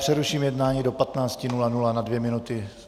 Přeruším jednání do 15.00 na dvě minuty.